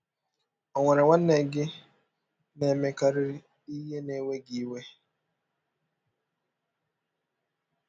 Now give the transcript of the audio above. Ọ̀ nwere nwanne gị na - emekarị ihe na - ewe gị iwe?